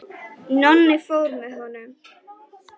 Nonni fór með honum.